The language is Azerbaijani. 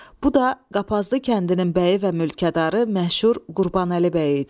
Bu da qapazlı kəndinin bəyi və mülkədarı məşhur Qurbanəli bəy idi.